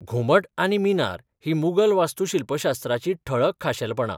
घुमट आनी मिनार हीं मुघल वास्तूशिल्पशास्त्राचीं ठळक खाशेलपणां.